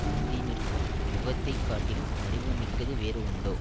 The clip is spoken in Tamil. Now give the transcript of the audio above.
முந்தி நிற்கும் முகத்தை காட்டிலும் அறிவு மிக்கது வேறு உண்டோ